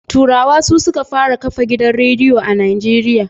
Turawa su suka fara kafa gidan radiyo a Najeriya.